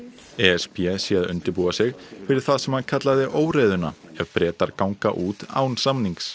e s b sé að undirbúa sig fyrir það sem hann kallaði óreiðuna ef Bretar ganga út án samnings